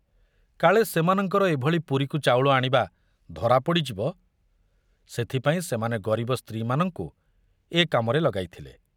କାଳେ ସେମାନଙ୍କର ଏଭଳି ପୁରୀକୁ ଚାଉଳ ଆଣିବା ଧରା ପଡ଼ିଯିବ, ସେଥିପାଇଁ ସେମାନେ ଗରିବ ସ୍ତ୍ରୀମାନଙ୍କୁ ଏ କାମରେ ଲଗାଇଥିଲେ।